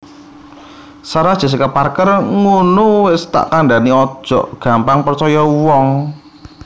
Sarah Jessica Parker ngunu wes tak kandhani ojok gampang percoyo uwong